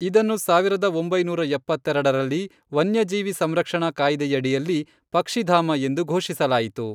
ಇದನ್ನು ಸಾವಿರದ ಒಂಬೈನೂರ ಎಪ್ಪತ್ತೆರೆಡರಲ್ಲಿ, ವನ್ಯಜೀವಿ ಸಂರಕ್ಷಣಾ ಕಾಯ್ದೆಯಡಿಯಲ್ಲಿ ಪಕ್ಷಿಧಾಮ ಎಂದು ಘೋಷಿಸಲಾಯಿತು.